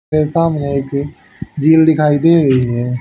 मेरे सामने एक झील दिखाई दे रही है।